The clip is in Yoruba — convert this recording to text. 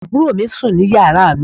àbúrò mi sùn ní yàrá mi